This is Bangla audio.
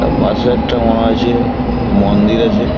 তা পাশে একটা মনে হচ্ছে মন্দির আছে।